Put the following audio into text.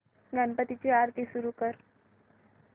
गणपती ची आरती सुरू कर